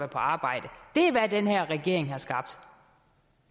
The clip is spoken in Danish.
på arbejde det er hvad den her regering har skabt